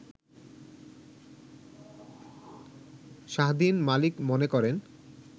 শাহদ্বীন মালিক মনে করেন